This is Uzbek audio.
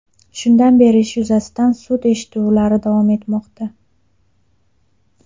Shundan beri ish yuzasidan sud eshituvlari davom etmoqda.